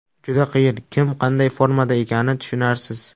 Juda qiyin, kim qanday formada ekani tushunarsiz.